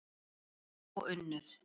Eiríkur og Unnur.